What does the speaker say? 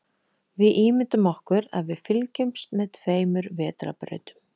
Við ímyndum okkur að við fylgjumst með tveimur vetrarbrautum.